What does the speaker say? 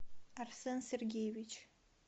арсен сергеевич